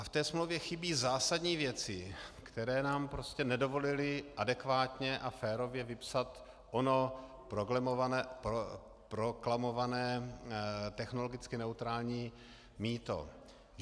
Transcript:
A v té smlouvě chybějí zásadní věci, které nám prostě nedovolily adekvátně a férově vypsat ono proklamované technologicky neutrální mýto.